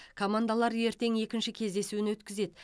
командалар ертең екінші кездесуін өткізеді